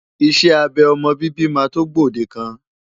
Iṣẹ́ abẹ ọmọ bíbí máa tó gbòdekan.